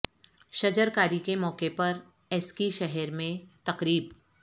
شجر کاری کے موقع پر ایسکی شہر میں تقریب